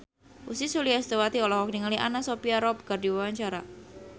Ussy Sulistyawati olohok ningali Anna Sophia Robb keur diwawancara